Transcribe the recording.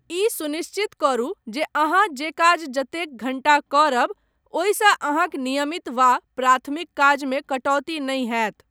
ई सुनिश्चित करू जे अहाँ जे काज जतेक घण्टा करब, ओहिसँ अहाँक नियमित वा प्राथमिक काजमे कटौती नहि होयत।